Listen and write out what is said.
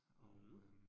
Mh